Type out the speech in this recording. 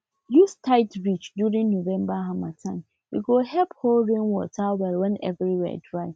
use tied ridge during november harmattane go help hold rain water well when everywhere dry